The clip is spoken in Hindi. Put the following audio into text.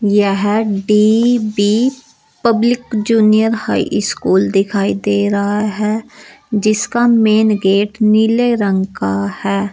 यह D B public junior high school दिखाई दे रहा है जिसका मेन गेट नीले रंग का है।